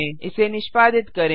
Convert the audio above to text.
इसे निष्पादित करें